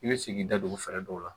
I bɛ sigi i da don fɛɛrɛ dɔw la